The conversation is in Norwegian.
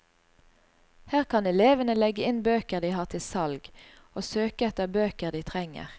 Her kan elevene legge inn bøker de har til salg, og søke etter bøker de trenger.